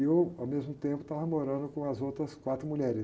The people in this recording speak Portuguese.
E eu, ao mesmo tempo, estava morando com as outras quatro mulheres.